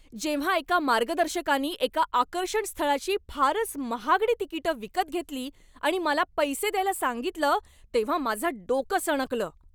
जेव्हा एका मार्गदर्शकानी एका आकर्षणस्थळाची फारच महागडी तिकिटं विकत घेतली आणि मला पैसे द्यायला सांगितलं तेव्हा माझं डोकं सणकलं.